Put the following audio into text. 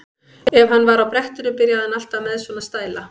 Ef hann var á brettinu byrjaði hann alltaf með svona stæla.